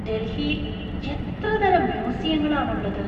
ഡൽഹിയിൽ എത്ര തരം മ്യൂസിയങ്ങൾ ആണുള്ളത്!